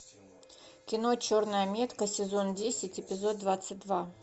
кино черная метка сезон десять эпизод двадцать два